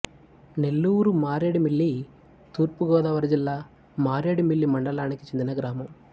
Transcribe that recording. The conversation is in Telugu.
నెల్లూరు మారేడుమిల్లి తూర్పు గోదావరి జిల్లా మారేడుమిల్లి మండలానికి చెందిన గ్రామం